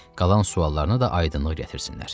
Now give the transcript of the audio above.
Qalan suallarına da aydınlıq gətirsinlər.